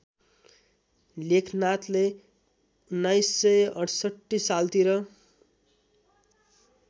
लेखनाथले १९६८ सालतिर